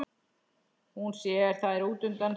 Hún sér þær útundan sér.